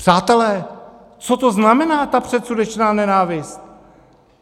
Přátelé, co to znamená, ta předsudečná nenávist?